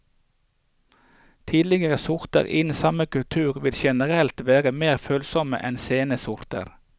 Tidlige sorter innen samme kultur vil generelt være mer følsomme enn sene sorter.